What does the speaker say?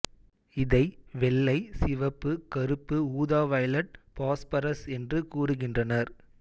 இதை வெள்ளை சிவப்பு கருப்பு ஊதாவைலெட் பாஸ்பரஸ் என்று கூறுகின்றனர்